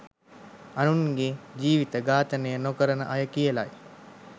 අනුන්ගේ ජීවිත ඝාතනය නොකරන අය කියලයි